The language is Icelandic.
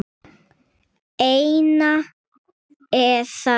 eina eða tvær.